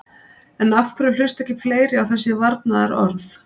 En af hverju hlusta ekki fleiri á þessari varnarorð?